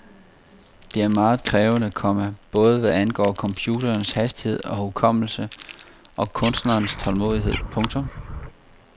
Det er meget krævende, komma både hvad angår computerens hastighed og hukommelse og kunstnerens tålmodighed. punktum